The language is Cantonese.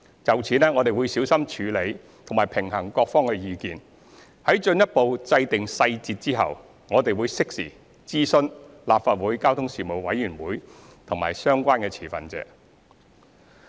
就此，我們會小心處理及平衡各方的意見，在進一步制訂細節後，我們會適時諮詢立法會交通事務委員會及相關持份者。